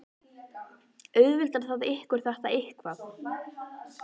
Auðveldar það ykkur þetta eitthvað?